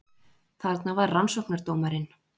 Þarna var rannsóknardómarinn